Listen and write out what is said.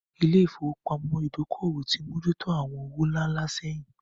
Ilé ìfowópamọ́ Ìdókòwò ti mójú tó àwọn owó ńlá ńlá sẹ́yìn